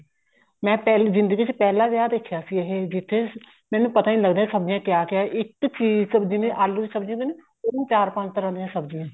ਮੈਂ ਜਿੰਦਗੀ ਚ ਪਹਿਲਾਂ ਵਿਆਹ ਦੇਖਿਆ ਸੀ ਇਹ ਜਿੱਥੇ ਮੈਨੂੰ ਪਤਾ ਨੀ ਲੱਗਦਾ ਸੀ ਸਬਜੀਆਂ ਕਿਆ ਕਿਆ ਇੱਕ ਚੀਜ਼ ਜਿਵੇਂ ਆਲੂ ਦੀ ਸਬਜ਼ੀ ਉਹਨੂੰ ਚਾਰ ਪੰਜ ਤਰ੍ਹਾਂ ਦੀਆਂ ਸਬਜੀਆਂ